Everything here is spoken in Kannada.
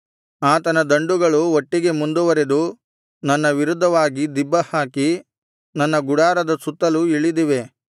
ಆತನ ದಂಡುಗಳು ಒಟ್ಟಿಗೆ ಮುಂದುವರೆದು ನನ್ನ ವಿರುದ್ಧವಾಗಿ ದಿಬ್ಬಹಾಕಿ ನನ್ನ ಗುಡಾರದ ಸುತ್ತಲೂ ಇಳಿದಿವೆ